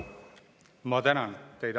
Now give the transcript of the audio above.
Ma tänan teid.